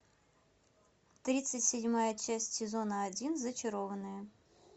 тридцать седьмая часть сезона один зачарованные